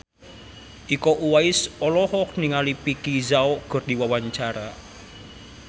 Iko Uwais olohok ningali Vicki Zao keur diwawancara